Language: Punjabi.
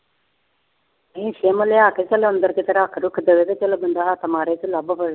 ਨਹੀਂ ਸਿਮ ਲਿਆ ਕੇ ਚੱਲ ਅੰਦਰ ਕਿਤੇ ਰੱਖ ਰੁੱਖ ਦੇਵੇ ਤੇ ਚੱਲ ਬੰਦਾ ਹੱਥ ਮਾਰੇ ਤੇ ਲੱਭ ਪਵੇ।